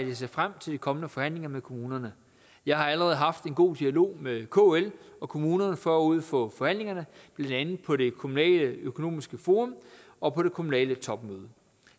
jeg ser frem til de kommende forhandlinger med kommunerne jeg har allerede haft en god dialog med kl og kommunerne forud for forhandlingerne blandt andet på det kommunaløkonomiske forum og på det kommunale topmøde